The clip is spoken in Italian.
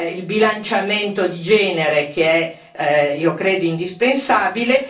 il bilanciamento di genere, che è, io credo, indispensabile